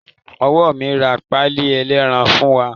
Ìyá mi ra páíì ẹlẹ́ran fún wa.